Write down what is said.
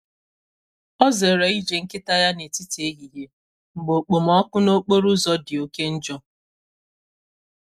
Ọ zere ije nkịta ya n’etiti ehihie mgbe okpomọkụ n’okporo ụzọ dị oke njọ.